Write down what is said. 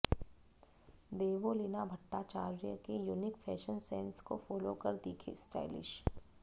देवोलीना भट्टाचार्य के unique fashion sense को follow कर दिखें स्टाइलिश